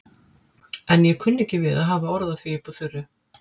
En ég kunni ekki við að hafa orð á því upp úr þurru.